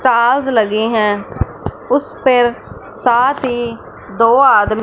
ताज लगें हैं उस पर साथ ही दो आदमी--